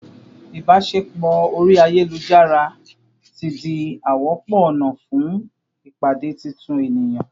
ibaṣepọ ori ayelujara ti di a wọpọ ọna fun pade titun eniyan